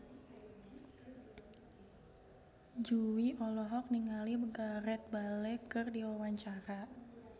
Jui olohok ningali Gareth Bale keur diwawancara